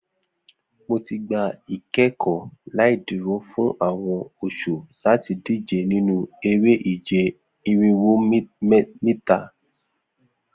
Mo ti gba ikẹkọ laiduro fun awọn oṣu lati dije ninu ere-ije irinwo mita